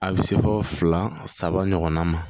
A bɛ se fɔ fila saba ɲɔgɔnna ma